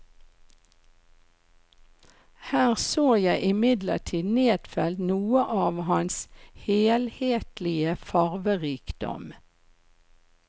Her så jeg imidlertid nedfelt noe av hans helhetlige farverikdom.